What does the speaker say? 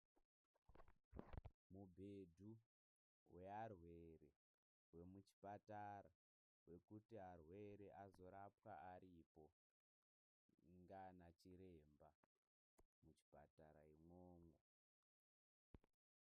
Mugedhu wearwere wemuchipatara wekuti arwere azorapwa aripo ndiana chiremba muchipatara imwomwo.